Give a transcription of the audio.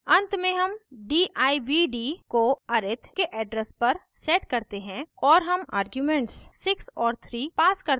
at में हम divd को arith के address पर set करते हैं और हम आर्ग्यूमेंट्स 6 और 3 pass करते हैं